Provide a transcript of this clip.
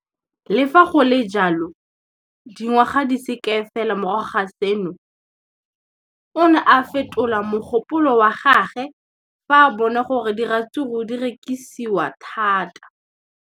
Le fa go le jalo, dingwaga di se kae fela morago ga seno, o ne a fetola mogopolo wa gagwe fa a bona gore diratsuru di rekisiwa thata.